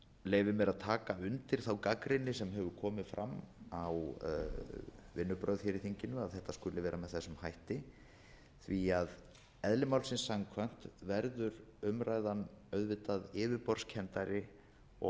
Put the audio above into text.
leyfi mér að taka undir þá gagnrýni sem hefur komið fram á vinnubrögð í þinginu að þetta skuli vera með þessum hætti því að eðli málsins samkvæmt verður umræðan auðvitað yfirborðskenndari og